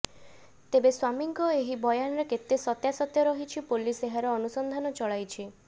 ତେବେ ସ୍ବାମୀଙ୍କ ଏହି ବୟାନରେ କେତେ ସତ୍ୟାସତ୍ୟ ରହିଛି ପୋଲିସ ଏହାର ଅନୁସନ୍ଧାନ ଚଳାଇଛି